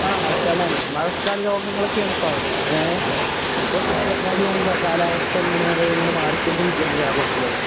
ആ മഴക്കാലാണ് മഴക്കാല രോഗങ്ങളൊക്കേണിപ്പോ അവിടേ ഏ എപ്പൊ നോക്കിയാലും ക കാലാവസ്ഥ ഇങ്ങനെ ഇങ്ങനെ മാറിക്കൊണ്ടിരിക്കാണ് കേരളത്തിലൊക്കെ.